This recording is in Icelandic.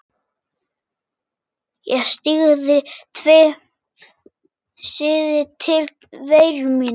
Ég syrgði tilveru mína.